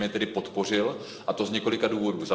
Já jsem jej tedy podpořil, a to z několika důvodů.